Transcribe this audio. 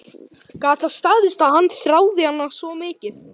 Gat það staðist að hann þráði hana svona mikið?